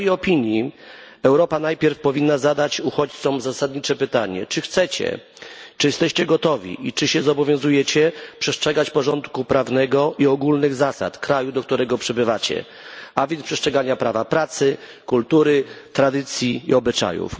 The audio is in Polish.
W mojej opinii Europa najpierw powinna zadać uchodźcom zasadnicze pytanie czy chcecie, czy jesteście gotowi i czy zobowiązujecie się przestrzegać porządku prawnego i ogólnych zasad kraju, do którego przybywacie, a więc przestrzegać prawa pracy, kultury, tradycji i obyczajów?